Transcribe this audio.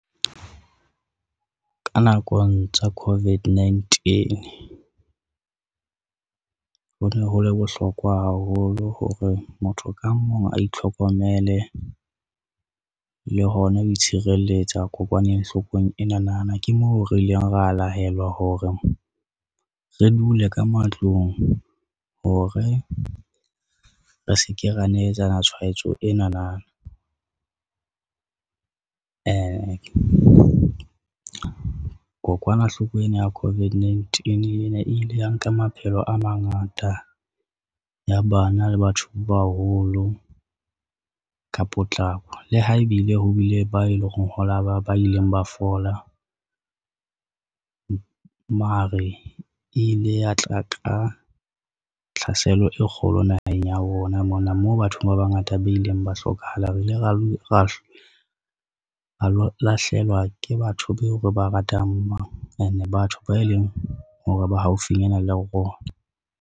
Ka nakong tsa COVID-19, ho ne ho le bohlokwa haholo hore motho ka mong a itlhokomele le hona ho itshireletsa kokwanenghloko ena na na, ke moo re ileng ra lahelwa hore re dule ka matlong ho re re se ke ra neletsana tshwaetso enana. Kokwanahloko ena ya COVID-19 ena e ile ya nka maphelo a mangata, ya bana le batho ba baholo, ka potlako le ha ebile ho bile ba e lo reng ho la ba ba ileng ba fola, mare ile ya tla ka tlhaselo e kgolo naheng ya rona mona moo batho ba bangata ba ileng ba hlokahala, re ile ra lo lahlehelwa ke batho be o re ba ratang ene batho ba e leng hore ba haufinyana le rona.